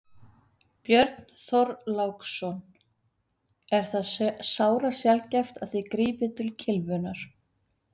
Björn Þorláksson: Er það sárasjaldgæft að þið grípið til kylfunnar?